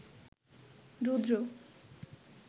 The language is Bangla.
রুদ্র